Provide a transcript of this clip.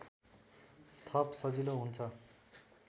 थप सजिलो हुन्छ